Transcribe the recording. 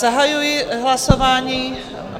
Zahajuji hlasování...